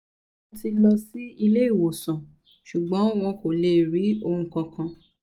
mo ti lọ sí ilé ìwòsàn ṣùgbọ́n wọn kò lè rí ohun kankan